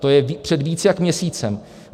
To je před víc jak měsícem.